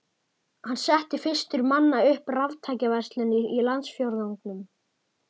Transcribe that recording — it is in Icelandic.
Hann setti fyrstur manna upp raftækjaverslun í landsfjórðungnum.